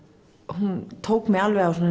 hún tók mig alveg á